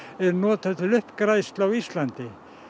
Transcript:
nota til uppgræðslu á Íslandi